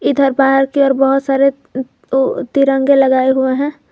इधर बाहर की ओर बहुत सारे उ तिरंगे लगाए हुए हैं।